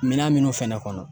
Minan munnu fɛnɛ kɔnɔ